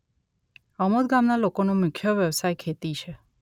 અમોદ ગામના લોકોનો મુખ્ય વ્યવસાય ખેતી છે